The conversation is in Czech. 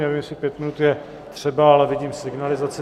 Nevím, jestli pět minut je třeba, ale vidím signalizaci.